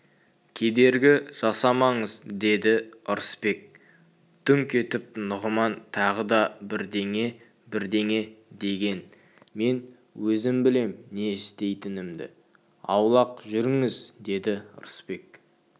кедергі жасамаңыз деді ырысбек дүңк етіп нұғыман тағы да бірдеңе-бірдеңе деген мен өзім білем не істейтінімді аулақ жүріңіз деді ырысбек